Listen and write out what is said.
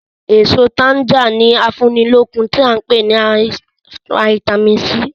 Èso tanga ni afúnilókun tí a ń pè ní "Vitamin C".